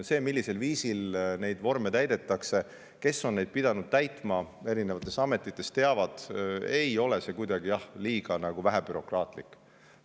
Need, kes on oma ameti tõttu pidanud neid vorme täitma, teavad, millisel viisil neid täidetakse, ja teavad ka seda, et see kõik ei ole kuidagi vähebürokraatlik.